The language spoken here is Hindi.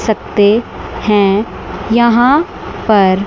सकते है यहां पर--